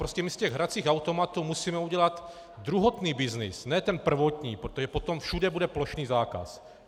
Prostě my z těch hracích automatů musíme udělat druhotný byznys, ne ten prvotní, protože potom všude bude plošný zákaz.